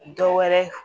Dɔ wɛrɛ